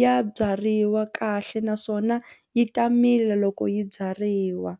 ya byariwa kahle naswona yi ta mila loko yi byariwa.